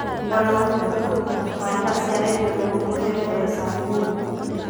O na gũtuĩka kũruta tabarĩĩa cia redio no kũhũthĩre mbeca nyinyi.